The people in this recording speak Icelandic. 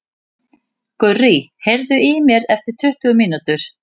Gurrý, heyrðu í mér eftir tuttugu mínútur.